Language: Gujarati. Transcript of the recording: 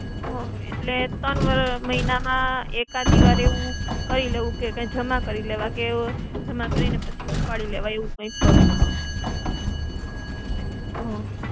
હમ્મ, એટલે ત્રણ મહિનામાં એકાદી વાર એવું, કરી લેવું કે જમા કરી લેવા કે જમા કરી ને પછી ઉપાડી લેવા એવું કંઈક કરું. હમ્મ.